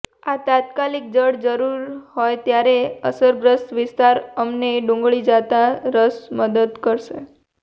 એક તાત્કાલિક જડ જરૂર હોય ત્યારે અસરગ્રસ્ત વિસ્તાર અમને ડુંગળી તાજા રસ મદદ કરશે